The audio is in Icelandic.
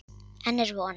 Enn er von.